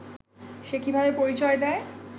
সে কিভাবে পরিচয় দেয়